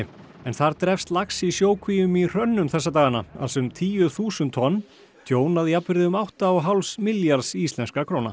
en þar drepst lax í sjókvíum í hrönnum þessa dagana alls um tíu þúsund tonn tjón að jafnvirði um átta og hálfs milljarðs íslenskra króna